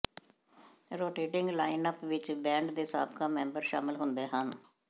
rotating lineup ਵਿੱਚ band ਦੇ ਸਾਬਕਾ ਮੈਂਬਰ ਸ਼ਾਮਲ ਹੁੰਦੇ ਹਨ